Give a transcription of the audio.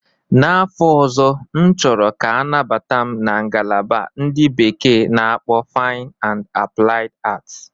N'afọ ọzọ, M chọrọ ka anabata m na ngalaba ndị bekee na-akpọ Fine and Applied Arts.